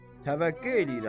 Təvəqqə eləyirəm.